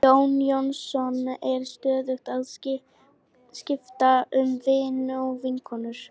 Jón Jónsson er stöðugt að skipta um vini og vinkonur.